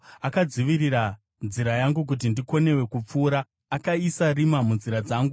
Akadzivira nzira yangu kuti ndikonewe kupfuura; akaisa rima munzira dzangu.